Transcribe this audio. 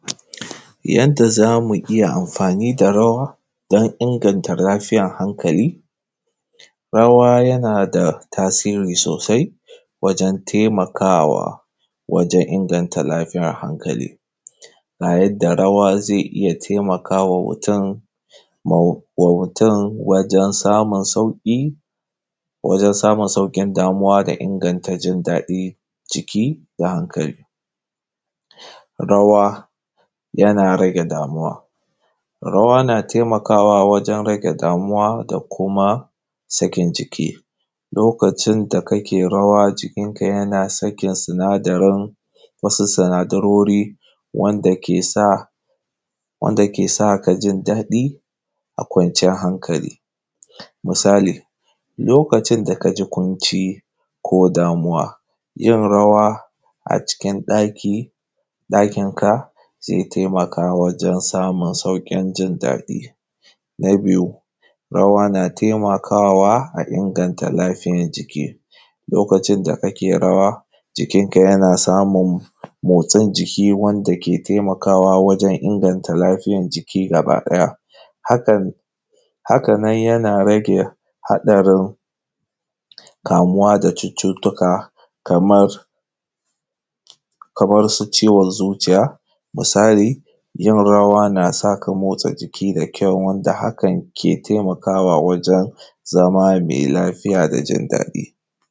Yanda za mu yi amfani da rawa don inganta lafiyan hankali. Rawa yana da tasiri sosai wajen taimakawa wajen inganta lafiyan hankali. Ga yadda rawa zai iya taimakawa mutum, mutum wajen samun sauƙi, wajen samun sauƙin damuwa da inganta jindaɗi ciki da hankali. Rawa yana rage damuwa, rawa na taimakawa wajen rage damuwa da kuma sakin jiki, lokacin da kake rawa jikin ka yana sakin sinadarin, wasu sinadarori wanda ke sa, wanda ke sa ka ji daɗi da kwanciyar hankali. Misali, lokacin da ka ji ƙunci ko damuwa, yin rawa acikin ɗaki, ɗakin ka zai taimaka wajen samun sauƙin jindaɗi. Na biyu, rawa na taimakawa a inganta lafiyan jiki, lokacin da kake rawa, jikinka yana samun motsin jiki, wanda ke taimakawa wajen inganta lafiyan jiki gaba ɗaya. Hakan, hakan nan yana rage haɗarin kamuwa da cututtuka kamar, kamar su ciwon zuciya, misali; yin rawa na sa ka motsa jiki da kyau, wanda hakan ke taimakawa wajen zama mai lafiya da jindaɗi.